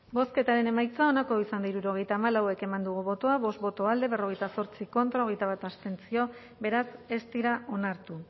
bozketaren emaitza onako izan da hirurogeita hamalau eman dugu bozka bost boto alde berrogeita zortzi contra hogeita bat abstentzio beraz ez dira onartu